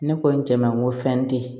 Ne kɔni cɛ manko fɛn te ye